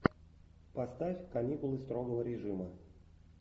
поставь каникулы строгого режима